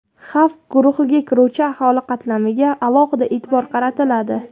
xavf guruhiga kiruvchi aholi qatlamiga alohida e’tibor qaratiladi.